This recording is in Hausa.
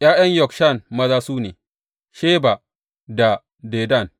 ’Ya’yan Yokshan maza su ne, Sheba da Dedan.